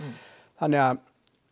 þannig að